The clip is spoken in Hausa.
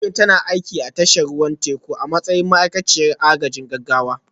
Amina tana aiki a tashar ruwan teku a matsayin ma'aikaciyar agajin gaggawa